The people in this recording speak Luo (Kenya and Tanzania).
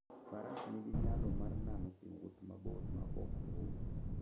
Faras nigi nyalo mar nano e wuoth mabor maok ool.